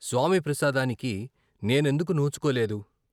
స్వామి ప్రసాదానికి నేనెందుకు నోచుకోలేదు?